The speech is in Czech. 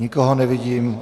Nikoho nevidím.